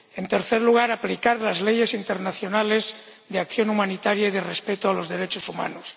y, en tercer lugar, la necesidad de aplicar las leyes internacionales de acción humanitaria y de respeto de los derechos humanos.